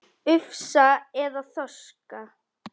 Ufsa eða þorska?